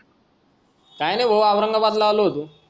काय नाही भाऊ औरंगाबादला आलो होतो